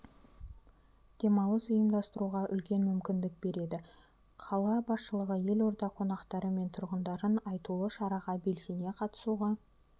демалыс ұйымдастыруға үлкен мүмкіндік береді қала басшылығы елорда қонақтары мен тұрғындарын айтулы шараға белсене қатысуға